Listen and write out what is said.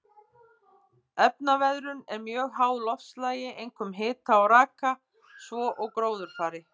Efnaveðrun er mjög háð loftslagi, einkum hita og raka, svo og gróðurfari.